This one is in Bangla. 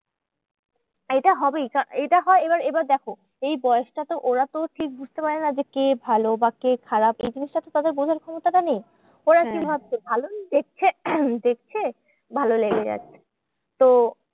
এইটা হবেই এইটা হয় এবার এবার দেখো এই বয়সটাতে ওরা তো ঠিক বুঝতে পারে না যে কে ভালো বা কে খারাপ এই জিনিসটা তো তাদের বোঝার ক্ষমতা নেই। ওরা কি ভাবছে? ভালোই দেখছে দেখছে ভালো লেগে যাচ্ছে। তো